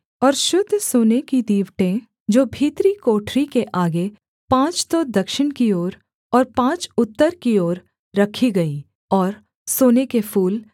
और शुद्ध सोने की दीवटें जो भीतरी कोठरी के आगे पाँच तो दक्षिण की ओर और पाँच उत्तर की ओर रखी गईं और सोने के फूल